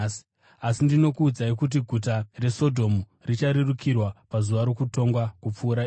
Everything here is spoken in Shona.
Asi ndinokuudza kuti guta reSodhomu richarerukirwa pazuva rokutongwa kupfuura iwe.”